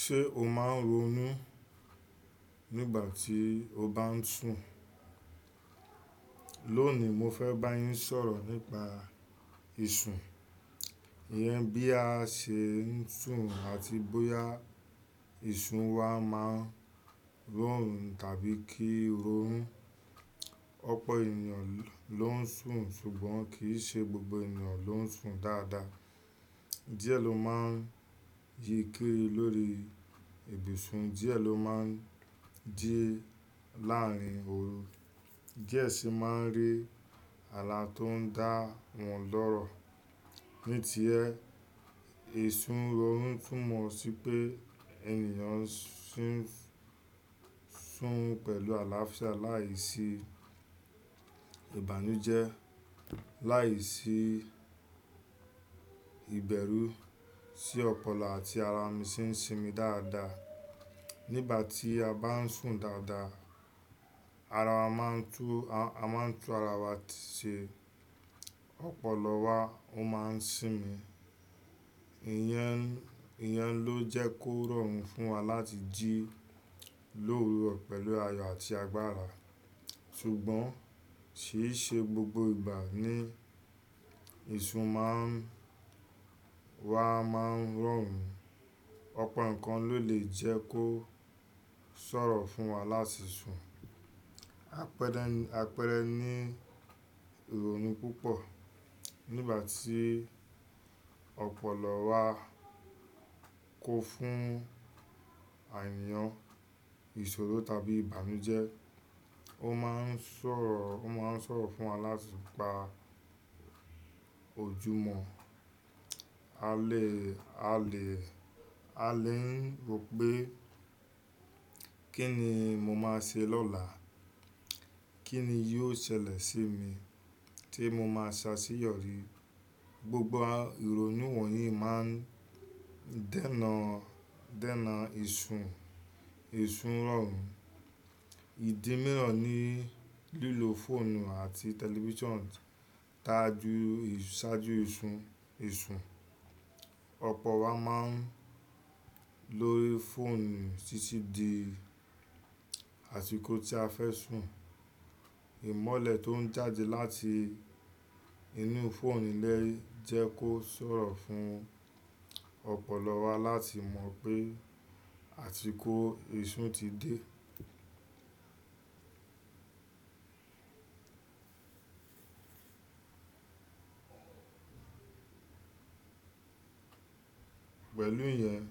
Ṣé o máa ń ronú nígbà tí o bá ń sùn? Lónìí, mo fẹ́ bá yín sọ̀rọ̀ nípa ìsun. Ìyẹn bí a ṣe ń sùn àti bóyá ìsun wa máa ń rọrùn tàbí kí ronu. Ọ̀pọ̀ ènìyàn ló ń sùn ṣùgbọ́n kì í ṣe gbogbo ènìyàn ló ń sùn dáadáa. Diẹ ló máa ń yíi lórí ibùsùn, diẹ ló máa ń jí láàárín òru, díẹ̀ sì máa ń rí ààlà tó ń dá wọn lọ́rọ̀. Ní tiẹ ì sun rọrùn túmọ̀ sí pé ènìyàn sín-sùn pẹ̀lú àlàáfíà láìsí ìbànújẹ́, láìsí ìbẹ̀rù, sí ọpọlọ àti ara mí sin sinmi dáadáa. Nígbà tí a bá ń sùn dáadáa, ara wa máa ń tú-- a máa ń tú ara wa ti ṣe, ọpọlọ wa ó máa ń sinmi. Ìyẹn, ìyẹn ló jẹ́ kó rọrùn fún wa láti jí lówúrọ̀ pẹ̀lú ayọ̀ àti agbára. Ṣùgbọ́n kì í ṣe gbogbo ìgbà ni ìsùn máa ń-- wa máa ń rọrùn. Ọ̀pọ̀ nǹkan ló lè jẹ́ kó sọ̀rọ̀ fún wa láti sùn. Apẹ̀rẹ̀, apẹ̀rẹ̀ ní ìrònú púpọ̀. Nígbà tí ọpọlọ wa kún fún àníyàn, ìṣòro tàbí ìbànújẹ́, ó máa ń ṣòro, ó máa ń ṣòro fún wa láti gba ojúmọ̀. A lè, a lè, a lè ń rò pé kí ni mo máa ṣe lọ́la? Kí ni yóò ṣẹlẹ̀ sí mi tí mo máa ṣ'àṣèyọrí? Gbogbo ìrònú wọ̀nyí máa ń dènà, dènà ìsùn, ìsùn ìrọ̀rùn. Ìdi miran ní lílo fóònù àti tẹlifíṣàn ṣáájú, ṣáájú ìsùn, ìsùn. Ọpọ wa máa ń lórí fóònù títí di àsìkò tí a fẹ́ sùn. Ìmọ́lẹ̀ tó ń jáde láti inú fóònù lè jẹ́ kó ṣòro fún ọpọlọ wa láti mọ̀ pé àsìkò sísùn ti dé. Pẹ̀lú ìyẹn,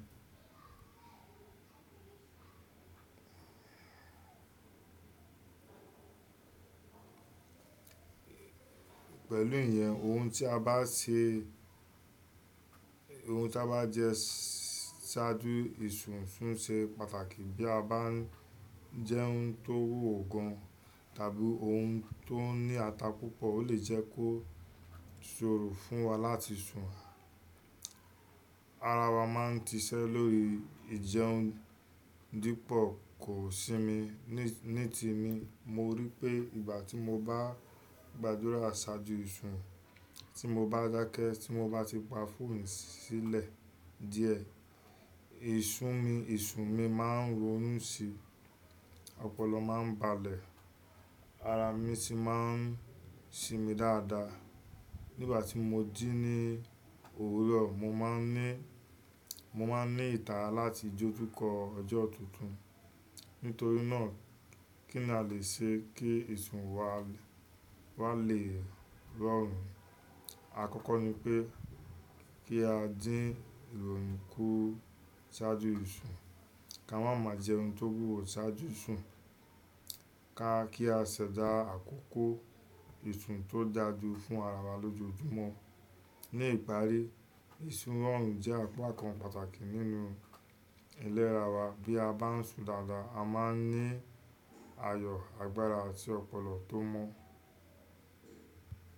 pẹ̀lú ìyẹn ohun tí a bá ṣe, ohun tí a bá jẹ ṣáájú ìsùn ń ṣe pàtàkì. Bí a bá ń jẹ́ oun tó wúwo gan tàbí oun tó ní ata púpọ̀ ó lè jẹ́ kó ṣòro fún wa láti sùn. Ara wa máa ń ṣi ṣẹ́ lórí ìjẹun dípò kò sí mí. Ní-ní temí, mo rí i pé ìgbà tí mo bá gbàdúrà ṣáájú ìsùn, tí mo bá dákẹ́, tí mo bá ti pa fóònù sílẹ̀ díẹ̀, ìsùn mi, ìsùn mi máa ń ronú síi, ọpọlọ máa ń balẹ̀, ara mi sì máa ń sinmi dáadáa. Nígbà tí mo jí ní òwúrọ̀, mo máa ń ní, mo máa ń ní ìtara láti dojúkọ ọjọ́ tuntun. Nítorí náà, kí ni a lè ṣe kí ìsùn wa, wa lè rọrùn? Àkọ́kọ́ ni pé kí a dín ìrònú kù ṣáájú ìsùn. Ka máa máa jẹun tó wúwo ṣáájú sùn. Ka, kí á ṣẹ̀dá àkókò ìsùn tó dàjú fún ara wa lójoojúmọ́. Ní ìparí, ìsùn rọrùn jẹ́ àpá kan pàtàkì nínú iléra wa. Bí a bá ń sùn dáadáa, a máa ń ní ayọ̀, agbára àti ọpọlọ tó mọ́.